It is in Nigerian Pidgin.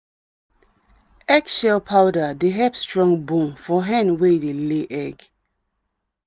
eggshell powder dey help strong bone for hen wey dey lay egg.